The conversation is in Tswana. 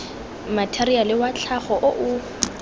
matheriale wa tlhago o o